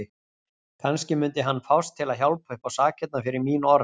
Kannski mundi hann fást til að hjálpa uppá sakirnar fyrir mín orð.